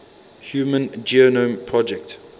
human genome project